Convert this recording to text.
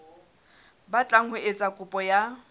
batlang ho etsa kopo ya